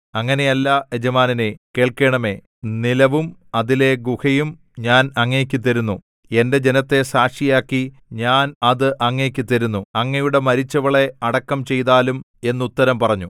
അങ്ങനെയല്ല യജമാനനേ കേൾക്കേണമേ നിലവും അതിലെ ഗുഹയും ഞാൻ അങ്ങയ്ക്ക് തരുന്നു എന്റെ ജനത്തെ സാക്ഷിയാക്കി ഞാൻ അത് അങ്ങയ്ക്ക് തരുന്നു അങ്ങയുടെ മരിച്ചവളെ അടക്കം ചെയ്താലും എന്നുത്തരം പറഞ്ഞു